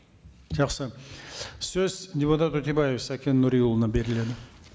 жақсы сөз депутат өтебаев сәкен нұриұлына беріледі